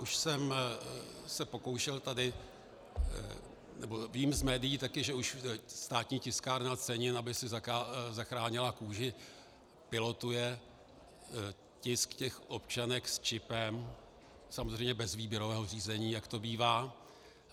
Už jsem se pokoušel tady, nebo vím z médií taky, že už Státní tiskárna cenin, aby si zachránila kůži, pilotuje tisk těch občanek s čipem, samozřejmě bez výběrového řízení, jak to bývá.